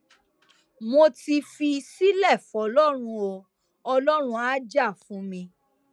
mo ti fi í sílẹ fọlọrun o ọlọrun àá jà fún mi